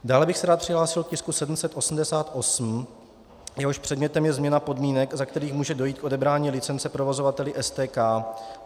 Dále bych se rád přihlásil k tisku 788, jehož předmětem je změna podmínek, za kterých může dojít k odebrání licence provozovateli STK.